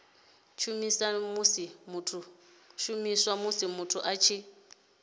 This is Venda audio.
shumiswa musi muthu a tshi